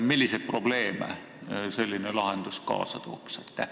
Milliseid probleeme selline lahendus kaasa tooks?